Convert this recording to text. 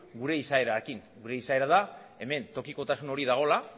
gure izaerarekin gure izaera da hemen tokikotasun hori dagoela